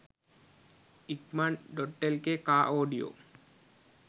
ikman.lk car audio